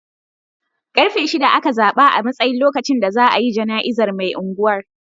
Karfe shida aka zaɓa a matsayin lokacin da za a yi jana'izar mai angwar.